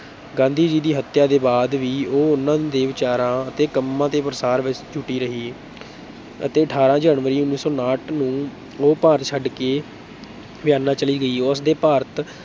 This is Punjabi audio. ਗਾਂਧੀ ਜੀ ਦੀ ਹੱਤਿਆ ਦੇ ਬਾਅਦ ਵੀ ਉਹ ਉਹਨਾਂ ਦੇ ਵਿਚਾਰਾਂ ਅਤੇ ਕੰਮਾਂ ਦੇ ਪ੍ਰਸਾਰ ਵਿੱਚ ਜੁਟੀ ਰਹੀ ਅਤੇ ਅਠਾਰਾਂ ਜਨਵਰੀ ਉੱਨੀ ਸੌ ਉਣਾਹਠ ਨੂੰ ਉਹ ਭਾਰਤ ਛੱਡਕੇ ਵਿਆਨਾ ਚਲੀ ਗਈ, ਉਸ ਦੇ ਭਾਰਤ